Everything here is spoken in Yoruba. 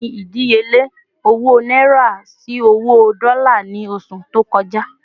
Kini ìdíyelé owó náírà sì owó dola ni oṣù tó kọja